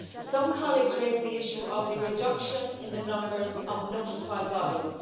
Some colleagues raised the issue of the reduction in the numbers of notified bodies.